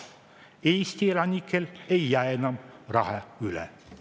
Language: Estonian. Eesti elanikel ei jää enam raha üle.